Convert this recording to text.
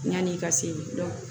Yan'i ka se